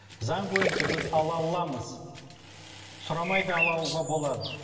заң бойынша біз ала аламыз сұрамай да ала алуға болады